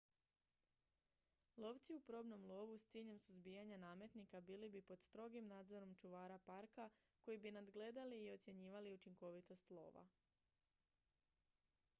lovci u probnom lovu s ciljem suzbijanja nametnika bili bi pod strogim nadzorom čuvara parka koji bi nadgledali i ocjenjivali učinkovitost lova